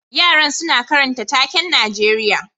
Yaran suna karanta taken Najeriya